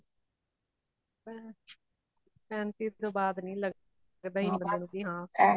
ਪੈਂਤੀ ਤੋਂ ਬਾਦ ਨਹੀਂ ਲੱਗਦਾ ,ਲੱਗਦਾ ਹੀ ਨਹੀਂ ਬਾਈ